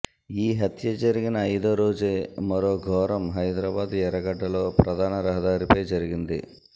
ఈ హత్య జరిగిన ఐదో రోజే మరో ఘోరం హైదరాబాద్ ఎర్రగడ్డలో ప్రధాన రహదారిపై జరిగింది